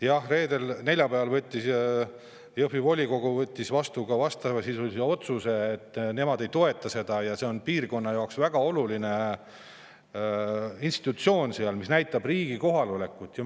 Jah, neljapäeval võttis Jõhvi volikogu vastu otsuse, et nemad ei toeta seda, et see on piirkonna jaoks väga oluline institutsioon, mis näitab riigi kohalolekut seal.